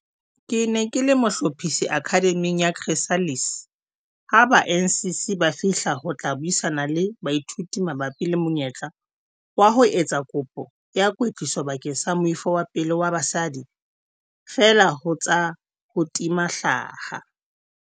"Ke ne ke le mohlophisi Akhademing ya Chrysalis ha ba NCC ba fihla ho tla buisana le baithuti mabapi le monyetla wa ho etsa kopo ya kwetliso bakeng sa moifo wa pele wa basadi feela ho tsa ho tima hlaha."